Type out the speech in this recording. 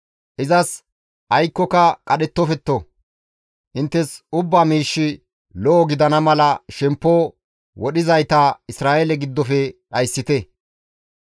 Izas aykkoka qadhettofte; inttes ubba miishshi lo7o gidana mala shemppo wodhizayta Isra7eele giddofe dhayssite.